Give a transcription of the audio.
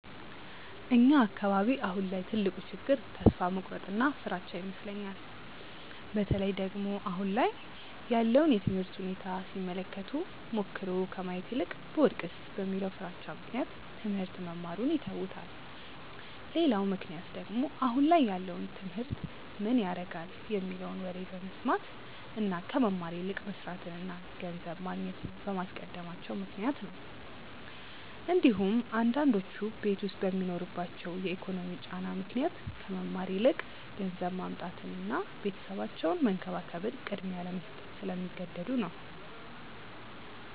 እኛ አካባቢ አሁን ላይ ትልቁ ችግር ተስፋ መቁረጥ እና ፍራቻ ይመስለኛል። በተለይ ደግሞ አሁን ላይ ያለውን የትምህርት ሁኔታ ሲመለከቱ ሞክሮ ከማየት ይልቅ ብወድቅስ በሚለው ፍራቻ ምክንያት ትሞህርት መማሩን ይተውታል። ሌላው ምክንያት ደግሞ አሁን ላይ ያለውን ትምህርት ምን ያረጋል የሚለውን ወሬ በመስማት እና ከመማር ይልቅ መስርትን እና ገንዘብ ማግኘትን በማስቀደማቸው ምክንያት ነው እንዲሁም አንዳንዶቹ ቤት ዉስጥ በሚኖርባቸው የኢኮኖሚ ጫና ምክንያት ከመማር ይልቅ ገንዘብ ማምጣትን እና ቤተሰባቸውን መንከባከብን ቅድሚያ ለመስጠት ስለሚገደዱ ነው።